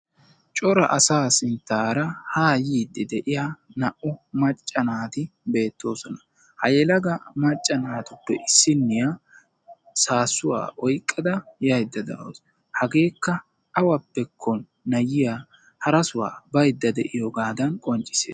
Cora asaa sinttaara haa yiidi de'iya naa"u macca naati beettoosona. Ha yelaga macca naatuppe issiniya saasuwa oyqqada yayida de'awusu. Hageekka awappekko ayiyaa hara suwa bayda de'iyogadan qonccissees.